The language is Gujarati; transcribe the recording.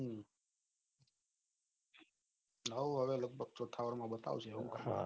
હાઉ હવે લગભગ ઠાર માં બતાવશે